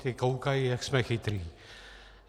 Ti koukají, jak jsme chytří.